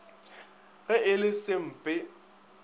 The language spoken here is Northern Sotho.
ge e le se sempe